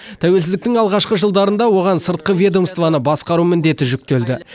тәуелсіздіктің алғашқы жылдарында оған сыртқы ведомствоны басқару міндеті жүктелді